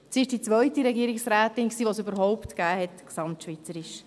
Sie war gesamtschweizerisch die zweite Regierungsrätin, die es überhaupt erst gab.